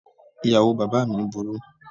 Ìyàwó bàbáà mi burú.